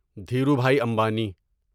Dhirubhai Ambani